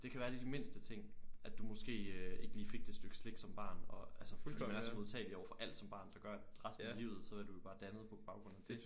Det kan være de mindste ting at du måske øh ikke lige fik det stykke slik som barn og altså fordi man er så modtagelig overfor alt som barn der gør at resten af livet så er du jo bare dannet på baggrud af dét